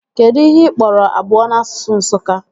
Kedụ ihe ị kpọrọ abụọ n'asụsụ Nsụka?